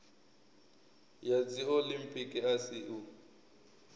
ya dziolimpiki a si u